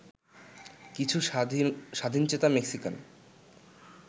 কিছু স্বাধীনচেতা মেক্সিকান